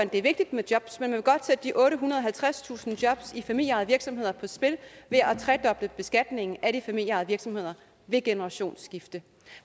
det er vigtigt med jobs men man vil godt sætte de ottehundrede og halvtredstusind jobs i familieejede virksomheder på spil ved at tredoble beskatningen af de familieejede virksomheder ved generationsskifte